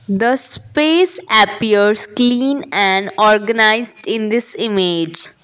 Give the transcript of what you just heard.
the space appears clean and organised in this image.